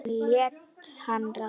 Hann lét hana ráða.